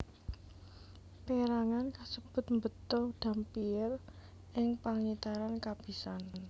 Pérangan kasebut mbeta Dampier ing pengitaran kapisan